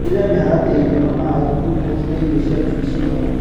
Tigĩrĩra mĩharatĩ ya irio na maĩ ngurukosi na irio cia njui cihau.